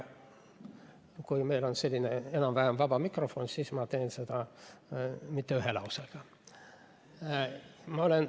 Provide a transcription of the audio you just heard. Kui meil on selline enam-vähem vaba mikrofon, siis ma teen seda rohkem kui ühe lausega.